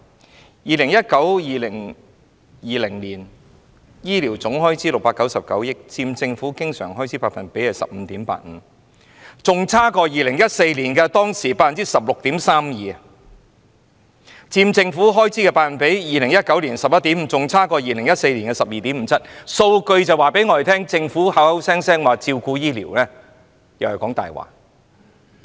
在 2019-2020 年度醫療總開支是699億元，佔政府經常開支 15.85%， 較2014年的 16.32% 為低；而佔政府開支的百分比 ，2019 年的 11.5% 亦較2014年的 12.57% 為低。